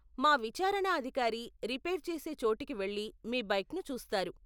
మా విచారణ అధికారి రిపేర్ చేసే చోటికి వెళ్లి మీ బైక్ను చూస్తారు.